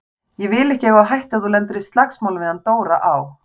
Ég vil ekki eiga á hættu að þú lendir í slagsmálum við hann Dóra á